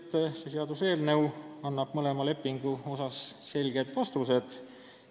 Komisjoni esimees märkis, et see eelnõu annab mõlema lepingu kohta selged vastused.